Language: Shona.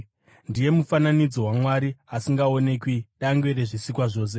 Ndiye mufananidzo waMwari asingaonekwi, dangwe rezvisikwa zvose.